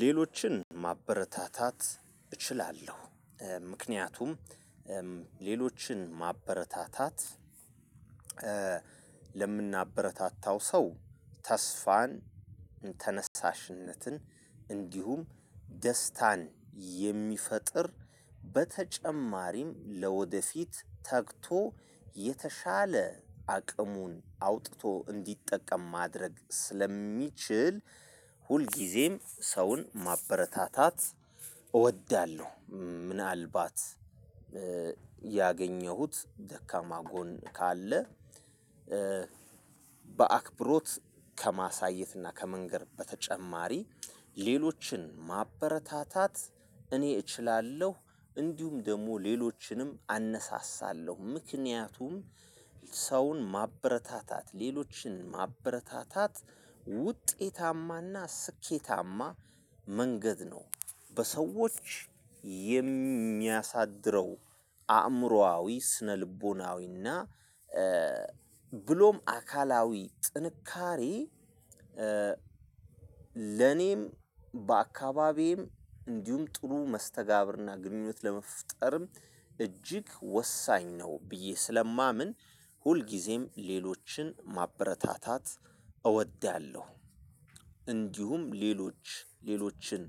ሌሎችን ማበረታታት እችላለሁ። ምክንያቱም ሌሎችን ማበረታታት ለምናበረታታው ሰው ተስፋን ተነሳሽነትን እንዲሁም ደስታን የሚፈጥር በተጨማሪም ለወደፊት ተግቶ የተሻለ አቅሙን አውጥቶ እንዲጠቀም ማድረግ ስለሚችል ሁልጊዜም ሰውን ማበረታታት እወዳለሁ። ምን አልባት ያገኘሁት ደካማ ጎን ካለ። በአክብሮት ከማሳየትና ከመንገር በተጨማሪ ሌሎችን ማበረታታት እኔ እችላለሁ እንዲሁም ደግሞ ሌሎችንም አነሳሳለው። ምክንያቱም ሰውን ማበረታታት ሌሎችን ማበረታታት ውጤታማና ስኬታማ መንገድ ነው። በሰዎች የሚያሳድረው አእምሮአዊ ስነልቦናዊና ብሎም አካላዊ ጥንካሬ። ለኔም በአካባቢም እንዲሁም ጥሩ መስተጋብርና ግንኙነት ለመፍጠርም እጅግ ወሳኝ ነው። ብዬ ስለማምን ሁልጊዜም ሌሎችን ማበረታታት እወዳለሁ። እንዲሁም ሌሎች ሌሎችን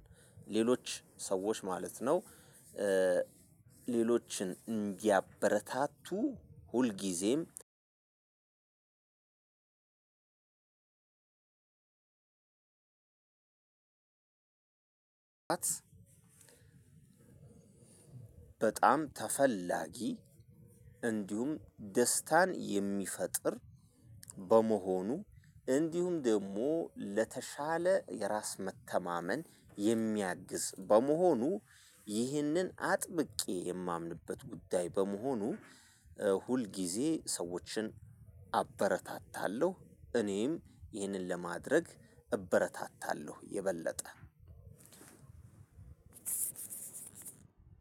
ሌሎች ሰዎች ማለት ነው። ሌሎችን እንዲያበረታቱ ሁልጊዜም በጣም ተፈላጊ። እንዲሁም ደስታን የሚፈጥር በመሆኑ አንዲሁም ደግሞ ለተሻለ የራስ መተማመን የሚያግዝ በመሆኑ ይሄንን አጥብቄ የማምንበት ጉዳይ በመሆኑ። ሁል ጊዜ ሰዎችን አበረታታለው። እኔም ይህንን ለማድረግ እበረታታለው የበለጠ